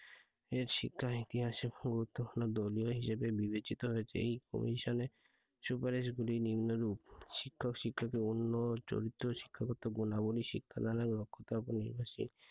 এর শিক্ষা ইতিহাসে গুরুত্বপূর্ণ দলীয় হিসেবে বিবেচিত হয়েছে। এই commission এ সুপারিশ গুলি নিম্নরূপ। শিক্ষা ও শিক্ষা কে অন্য চরিত্র শিক্ষকতার গুণাবলী শিক্ষাদানের দক্ষতার উপর নির্ভরশীল।